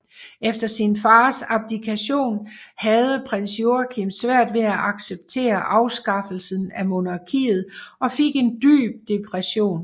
Efter sin fars abdikation havde Prins Joachim svært ved at acceptere afskaffelsen af monarkiet og fik en dyb depression